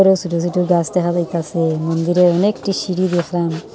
আঃ ছোট ছোট গাছ দেখা যাইতাছে মন্দিরে অনেকটি সিঁড়ি দেখলাম।